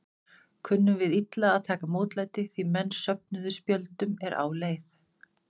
Kunnum við illa að taka mótlæti, því menn söfnuðu spjöldum er á leið?